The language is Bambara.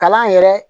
Kalan yɛrɛ